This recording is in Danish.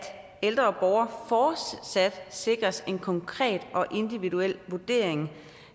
ældre borgere fortsat sikres en konkret og individuel vurdering